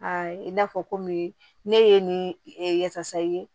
i n'a fɔ komi ne ye nin yafasa ye